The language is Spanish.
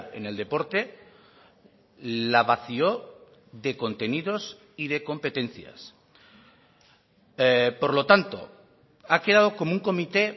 en el deporte la vació de contenidos y de competencias por lo tanto ha quedado como un comité